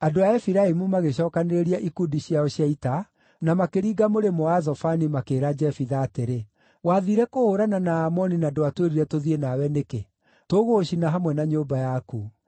andũ a Efiraimu magĩcookanĩrĩria ikundi ciao cia ita, na makĩringa mũrĩmo wa Zafoni makĩĩra Jefitha atĩrĩ, “Wathiire kũhũũrana na Aamoni na ndwatwĩtire tũthiĩ nawe nĩkĩ? Tũgũgũcina hamwe na nyũmba yaku.”